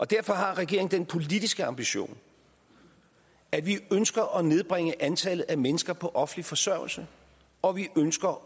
derfor har regeringen den politiske ambition at vi ønsker at nedbringe antallet af mennesker på offentlig forsørgelse og at vi ønsker